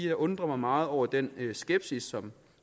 jeg undrer mig meget over den skepsis som